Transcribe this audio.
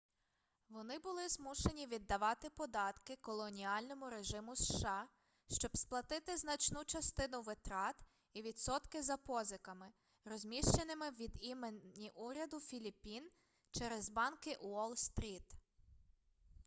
вони були змушені віддавати податки колоніальному режиму сша щоб сплатити значну частину витрат і відсотки за позиками розміщеними від імені уряду філіппін через банки уолл-стріт